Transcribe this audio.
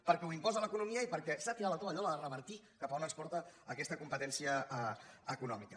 perquè ho imposa l’economia i perquè s’ha tirat la tovallola a revertir cap a on ens porta aquesta competència econòmica